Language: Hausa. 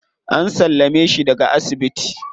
An sallame shi daga asibiti.